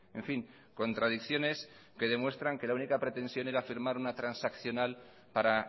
en fin contradicciones que demuestran que la única pretensión era firmar una transaccional para